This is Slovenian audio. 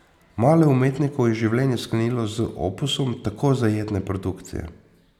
Malo umetnikov je življenje sklenilo z opusom tako zajetne produkcije.